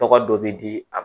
Tɔgɔ dɔ bɛ di a ma